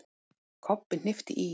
Kobbi hnippti í